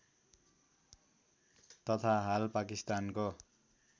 तथा हाल पाकिस्तानको